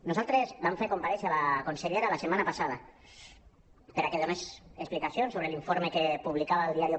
nosaltres vam fer comparèixer la consellera la setmana passada perquè donés explicacions sobre l’informe que publicava eldiario